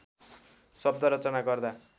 शब्द रचना गर्दा